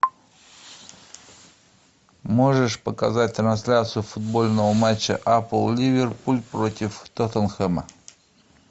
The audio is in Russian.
можешь показать трансляцию футбольного матча апл ливерпуль против тоттенхэма